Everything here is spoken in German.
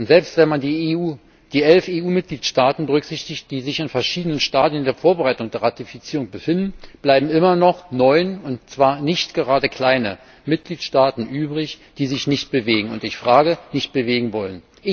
Selbst wenn man die elf EU Mitgliedstaaten berücksichtigt, die sich in verschiedenen Stadien der Vorbereitung der Ratifizierung befinden, bleiben immer noch neun und zwar nicht gerade kleine Mitgliedstaaten übrig, die sich nicht bewegen ich frage nicht bewegen wollen?